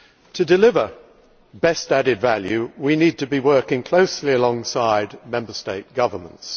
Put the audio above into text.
To deliver best added value, we need to be working closely alongside Member State governments.